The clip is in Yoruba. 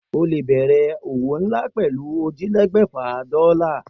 O lè bè̩rè̩ òwò nlá pè̩lú ójìlélé̩gbè̩fà dó̩là